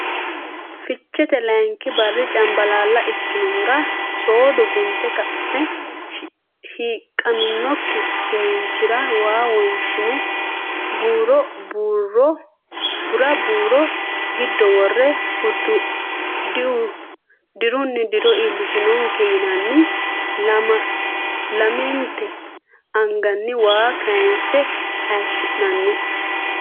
Ficheete layinki barri cambalaalla ikkinohura soodo gunte ka ne hiiqqaminokki finiinchira waa wonshine bu ra buuro giddo worre dirunni diro iillishonke yinanni lamente anganni waa kinsanni hayishi nani.